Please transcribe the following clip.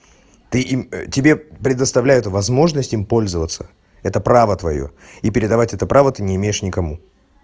ты им тебе предоставляют возможность им пользоваться это право твоё и передавать это право ты не имеешь никому